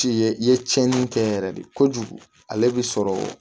Ti ye i ye tiɲɛni kɛ yɛrɛ de kojugu ale bɛ sɔrɔ